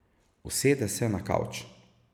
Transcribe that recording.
Usede se na kavč.